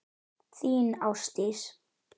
Þín Ásdís.